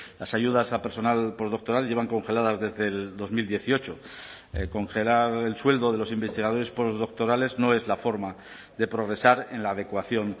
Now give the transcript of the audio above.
las ayudas a personal postdoctoral llevan congeladas desde el dos mil dieciocho congelar el sueldo de los investigadores postdoctorales no es la forma de progresar en la adecuación